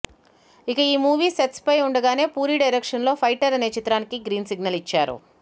ఇక ఈ movie sets ఫై ఉండగానే పూరి డైరెక్షన్లో ఫైటర్ అనే చిత్రానికి గ్రీన్ సిగ్నల్ ఇచ్చారు